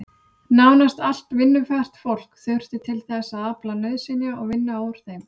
Nánast allt vinnufært fólk þurfti til þess að afla nauðsynja og vinna úr þeim.